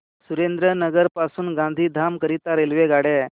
सुरेंद्रनगर पासून गांधीधाम करीता रेल्वेगाड्या